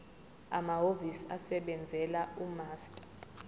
amahhovisi asebenzela umaster